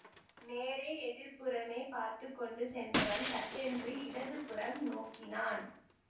நேரே எதிர்ப்புறமே பார்த்து கொண்டு சென்றவன் சட்டென்று இடது புறம் நோக்கினான்